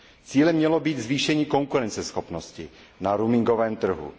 Cílem mělo být zvýšení konkurenceschopnosti na roamingovém trhu.